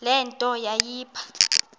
le nto yayipha